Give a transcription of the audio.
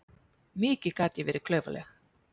Mikið gat ég verið klaufaleg.